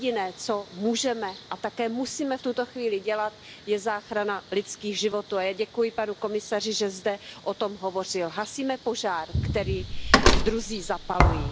Jediné, co můžeme a také musíme v tuto chvíli dělat, je záchrana lidských životů a já děkuji panu komisaři, že zde o tom hovořil. Hasíme požár, který druzí zapalují.